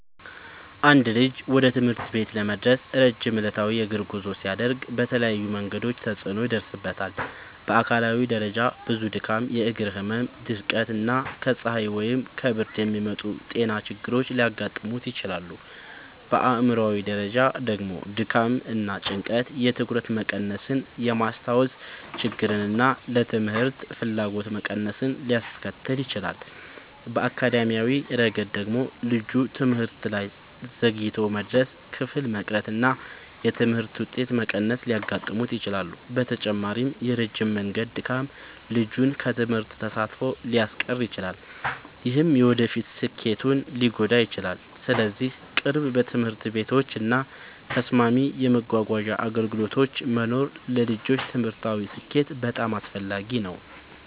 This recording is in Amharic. አንድ ልጅ ወደ ትምህርት ቤት ለመድረስ ረጅም ዕለታዊ የእግር ጉዞ ሲያደርግ በተለያዩ መንገዶች ተጽዕኖ ይደርስበታል። በአካላዊ ደረጃ ብዙ ድካም፣ የእግር ህመም፣ ድርቀት እና ከፀሐይ ወይም ከብርድ የሚመጡ ጤና ችግሮች ሊያጋጥሙት ይችላሉ። በአእምሯዊ ደረጃ ደግሞ ድካም እና ጭንቀት የትኩረት መቀነስን፣ የማስታወስ ችግርን እና ለትምህርት ፍላጎት መቀነስን ሊያስከትል ይችላል። በአካዳሚያዊ ረገድ ደግሞ ልጁ ትምህርት ላይ ዘግይቶ መድረስ፣ ክፍል መቅረት እና የትምህርት ውጤት መቀነስ ሊያጋጥሙት ይችላሉ። በተጨማሪም የረጅም መንገድ ድካም ልጁን ከትምህርት ተሳትፎ ሊያስቀር ይችላል፣ ይህም የወደፊት ስኬቱን ሊጎዳ ይችላል። ስለዚህ ቅርብ ትምህርት ቤቶች እና ተስማሚ የመጓጓዣ አገልግሎቶች መኖር ለልጆች ትምህርታዊ ስኬት በጣም አስፈላጊ ነው።